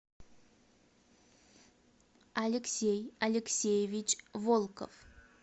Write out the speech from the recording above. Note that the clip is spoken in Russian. алексей алексеевич волков